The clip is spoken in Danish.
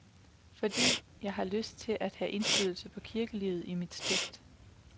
Fordi jeg har lyst til at have indflydelse på kirkelivet i mit stift.